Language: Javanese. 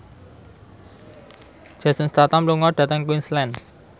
Jason Statham lunga dhateng Queensland